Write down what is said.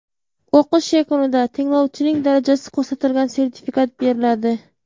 O‘qish yakunida tinglovchining darajasi ko‘rsatilgan sertifikat beriladi.